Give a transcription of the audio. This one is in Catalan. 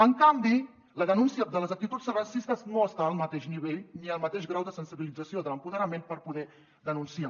en canvi la denúncia de les actituds racistes no està al mateix nivell ni al mateix grau de sensibilització de l’empoderament per poder denunciar